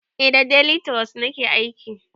Eh da delituros nake aiki